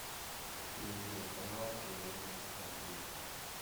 перейди на канал киноужас аш ди